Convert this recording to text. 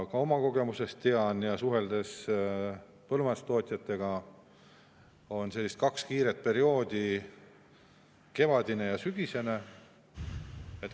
Oma kogemusest tean ja ka suhtlusest põllumajandustootjatega, et on kaks kiiret perioodi: kevadine ja sügisene.